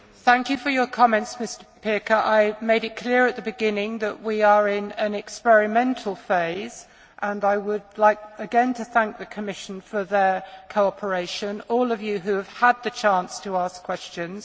Mr Pirker, thank you for your comments. I made it clear at the beginning that we are in an experimental phase and I would like again to thank the Commission for its cooperation and all of you who have had the chance to ask questions.